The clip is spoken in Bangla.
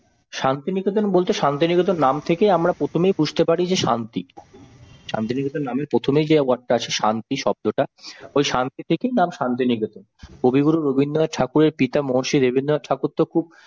শান্তিনিকেতন বলতে শান্তিনিকেতন নাম থেকেই প্রথমেই আমরা বুঝতে পারি শান্তি, শান্তিনিকেতনের নামে প্রথমে যে word টা আছে শান্তি শব্দটা, ওই শান্তি থেকেই শান্তিনিকেতন, কবিগুরু রবীন্দ্রনাথ ঠাকুরের পিতা মহর্ষি দেবেন্দ্রনাথ ঠাকুর তো খুব